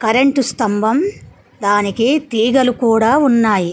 Current స్తంభం దానికి తీగలు కూడా ఉన్నాయి.